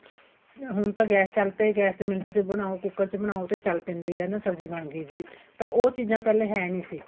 ਹੁਣ ਤਾਂ ਗੈਸ ਚੱਲ ਪੈ ਗੈਸ ਤੇ ਮਿੰਟ ਚ ਬਣਾਓ ਤੇ ਕੁੱਕਰ ਚ ਬਣਾਓ ਚੱਲ ਪੈਂਦੇ ਆ ਸਬ੍ਜ਼ੀ ਬਣਗੀ ਜੀ ਪਰ ਉਹ ਚੀਜ਼ਾਂ ਪਹਿਲੇ ਹੈ ਨਹੀਂ ਸੀ